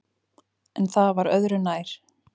En það var öðru nær.